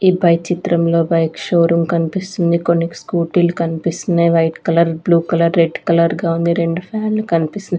ఈ పై చిత్రంలో బైక్ షో రూం కనిపిస్తుంది కొన్ని స్కూటీలు కనిపిస్తున్నాయి white colour blue colour red colour గా ఉంది రెండు ఫ్యాన్ లు కనిపిస్ --